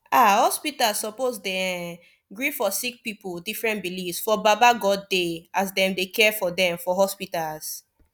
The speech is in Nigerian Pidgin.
ah hospitas suppos dey erm gree for sicki pipu different beliefs for baba godey as dem dey care for dem for hospitas